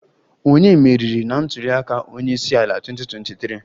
Ònye meriri na ntuli aka onye isi ala 2023?